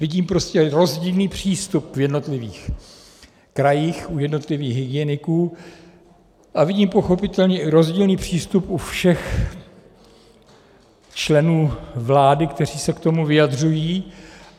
Vidím prostě rozdílný přístup v jednotlivých krajích u jednotlivých hygieniků a vidím pochopitelně i rozdílný přístup u všech členů vlády, kteří se k tomu vyjadřují.